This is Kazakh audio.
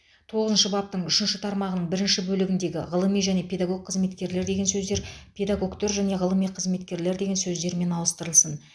тоғызыншы баптың үшінші тармағының бірінші бөлігіндегі ғылыми және педагог қызметкерлер деген сөздер педагогтер және ғылыми қызметкерлер деген сөздермен ауыстырылсын